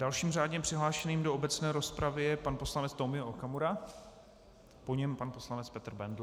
Dalším řádně přihlášeným do obecné rozpravy je pan poslanec Tomio Okamura, po něm pan poslanec Petr Bendl.